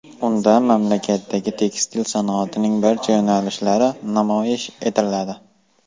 Unda mamlakatdagi tekstil sanoatining barcha yo‘nalishlari namoyish etiladi.